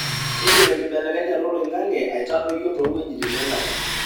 keidim enkibelekenyata oloingange aitadoyio towejitin engare.